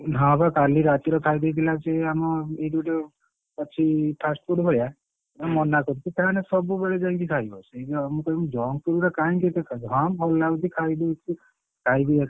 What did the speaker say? ହଁ ବା କାଲି ରାତିରେ ଖାଇଦେଇଥିଲା ସେ ଆମ ଏଇଟି ଗୋଟେ ଅଛି fast food ଭଳିଆ ମୁଁ ମନାକରୁଛି ତାହେଲେ ସବୁବେଳେ ଯାଇକି ଖାଇବ ସେଇଆ ଆଉ ମୁଁ କହୁଛି junk food ଅରା କାଇକି ଏତେ ଖାଉଛ? ହଁ ଭଲ ଲାଗୁଛି ଖାଇ ଦଉଛି ଖାଇକି ଏକାଥରକେ medical admit ଆଉ, ନେଇକି ଯାଇଥିଲି, ଝାଡା ଏଇନା ବନ୍ଦ ହଉନି ବାନ୍ତି ହଉଛି ପେଟ ପୁରା ତାର ।